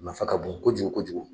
nafan ka bon kojugu kojugu.